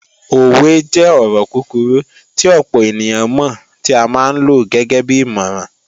Òwe jẹ́ ọ̀rọ̀ kúkurú tí ọ̀pọ̀ ènìyàn mọ̀ tí a máa ń lo gẹ́gẹ́bí ìmọ̀ràn